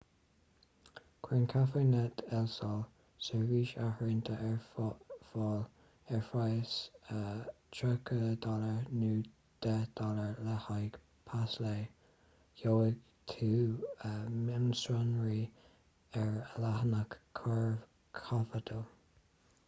cuireann cafenet el sol seirbhís áirithinte ar fáil ar phraghas us$30 nó $10 le haghaidh pas lae; gheobhaidh tú mionsonraí ar a leathanach corcovado